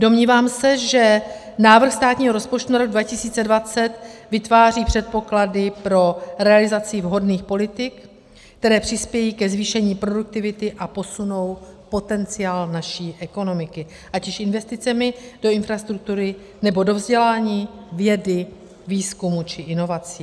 Domnívám se, že návrh státního rozpočtu na rok 2020 vytváří předpoklady pro realizaci vhodných politik, které přispějí ke zvýšení produktivity a posunou potenciál naší ekonomiky ať už investicemi do infrastruktury, nebo do vzdělání, vědy, výzkumu či inovací.